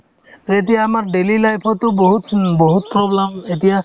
to এতিয়া আমাৰ daily life তো বহুত উম বহুত problem এতিয়া